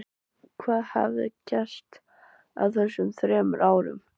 Hvað hafði gerst á þessum þremur árum?